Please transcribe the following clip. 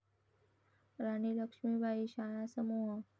राणी लक्ष्मीबाई शाळा समूह